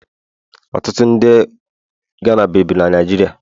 Ọtụtụ ndị Ghana bibu na Naịjirịa